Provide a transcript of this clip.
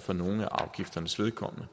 for nogle af afgifternes vedkommende